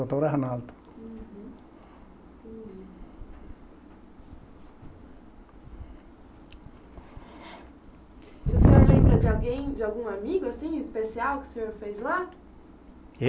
Arnaldo. Uhum. Entendi. E o senhor lembra de alguém, de algum amigo, assim, especial, que o senhor fez lá?